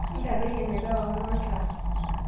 ntadoi eneba ewang'an oltaa